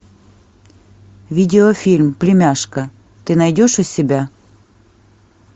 видеофильм племяшка ты найдешь у себя